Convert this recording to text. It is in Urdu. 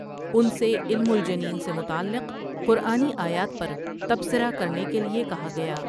ان سے علم الجنین سے متعلق قرآنی آیات پر تبصرہ کرنے کے لیے کہا گیا ۔